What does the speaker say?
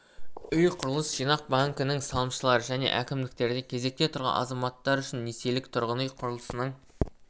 үй құрылыс жинақ банкінің салымшылары және әкімдіктерде кезекте тұрған азаматтар үшін несиелік тұрғын үй құрылысының